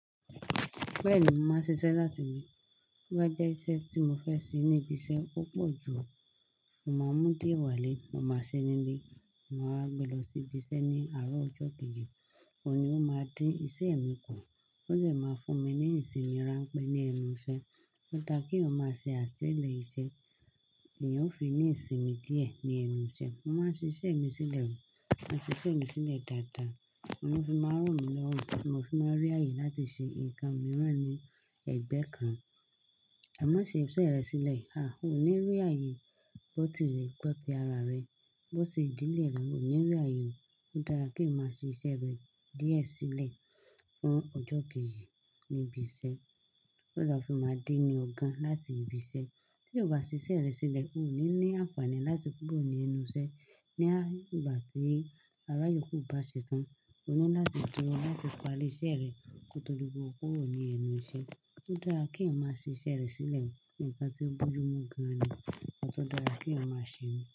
Bẹ́ẹ̀ ni mo màá ń ṣi ṣẹ́ láti ilé. Bí bá jẹ́ iṣẹ́ tí mo fẹ́ ṣe ní ibi iṣẹ́ púpọ̀ jù, mo máa mú dié wá lé, mo máa ṣe ní lé, mo máa wá gbé lọ sí ibi iṣẹ́ ní àárọ̀ ọjọ́ kejì, òun ni ó máa dín iṣẹ́ mi kù. Ó lè máa fún mi ní ìsinmi rán pé ní ẹnu iṣẹ́. Ó dá kí èèyàn má ṣe àṣẹlẹ̀ iṣẹ́, èèyàn ó fi ní ìsinmi díẹ̀ ní ẹnu iṣẹ́. Mo máa ṣe iṣẹ́ mi sílẹ̀, máa ṣe iṣẹ́ mi sílẹ̀ dáadáa, oun ló fì máa ràn mí lọ́wọ́, tí mo fì máa rí ààyè láti ṣe ǹkan mìíràn ní ẹ̀gbẹ́ kan. Ai má ṣe iṣẹ́ rẹ sílẹ̀, a o ní rí ààyè gbó temi gbọ́tí ara rẹ, gbó ti idílẹ̀ mi, mi o ní rí ààyè o. Ó dára kí o má ṣe iṣẹ́ rẹ díẹ̀ sílẹ̀ fún ọjọ́ kejì ní ibi iṣẹ́. Ó dàá kí n máa dín ni ọ̀gan láti ibi iṣẹ́. Tí o bá ṣe iṣẹ́ rẹ sílẹ̀, o ní ní àǹfààní láti kúrò ní ẹnu iṣẹ́. Ni ìgbà tí aráyòkù bá ṣe tán, o ní láti dúró láti parí iṣẹ́ rẹ kotọ́ di pé o kúrò ní ẹnu iṣẹ́. Ó dára kí èyàn má ṣe iṣẹ́ rẹ sílẹ̀. Nǹkan tí ó bójú mú gan ni, nǹkan tí ó dára kí èyàn máa ṣe ni.